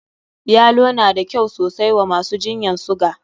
Yalo na da kyau sosai wa masu jinyan suga.